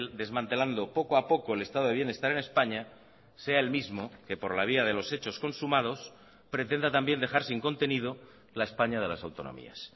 desmantelando poco a poco el estado de bienestar en españa sea el mismo que por la vía de los hechos consumados pretenda también dejar sin contenido la españa de las autonomías